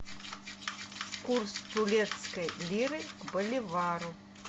курс турецкой лиры к боливару